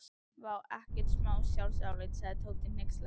Vá, ekkert smá sjálfsálit sagði Tóti hneykslaður.